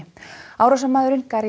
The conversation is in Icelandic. árásarmaðurinn